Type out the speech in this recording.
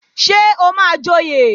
Ṣé o máa joyè?